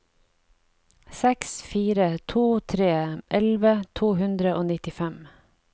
seks fire to tre elleve to hundre og nittifem